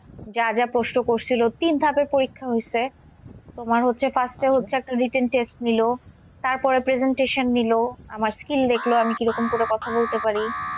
যা যা প্রশ্ন করছিলো তিন ধাপে পরীক্ষা হইসে, তোমার হচ্ছে হচ্ছে একটা written test নিলো। তারপরে presentation নিলো আমার skill দেখলো আমি কি রকম করে কথা বলতে পারি।